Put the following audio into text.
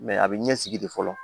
a bɛ ɲɛsigi de fɔlɔ